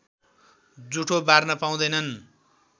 जुठो बार्न पाउँदैनन्